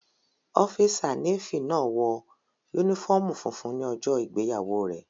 Ọ́físà Nééfì náà wọ yúnífọ́ọ̀mù funfun ní ọjọ́ ìgbéyàwó rẹ̀